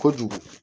Kojugu